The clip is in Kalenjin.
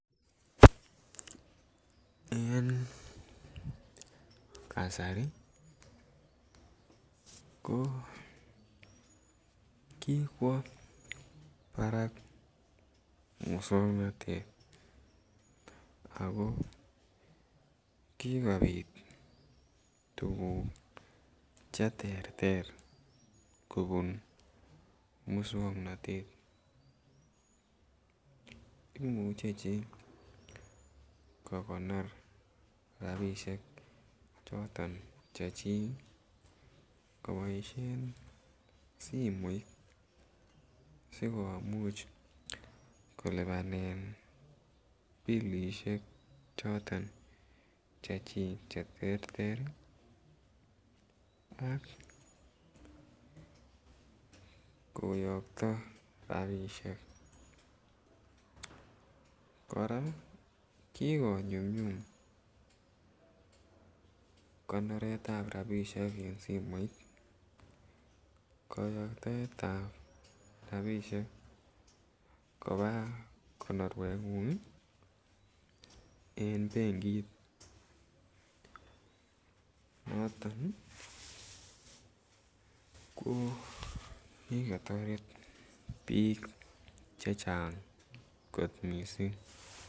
En kasari ko kikwo barak moswoknatet ako kigobit tuguk Che terter kobun moswoknatet imuche chi kogonor rabisiek choton chechik koboisien simoit asi komuch kolipanen bilisiek choton chechik Che terter ak koyokto rabisiek kora ki konyumnyum konoret ab rabisiek en simoit koyoktoetab rabisiek koba konorwengung en benkit noton ko ki kotoret bik chechang mising